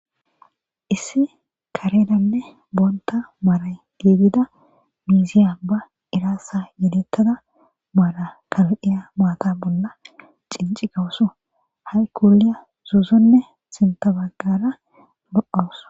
Issi karetanne boonta mara giddida miizziya ba irinxarssa yeddeyada mara kal'ilya maata bolla chinchigawusu hay koliya zo'onne sintta baggara lo'awusu.